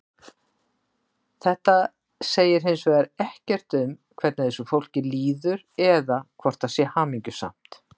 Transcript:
Þetta segir hins vegar ekkert um hvernig þessu fólki líður eða hvort það sé hamingjusamt.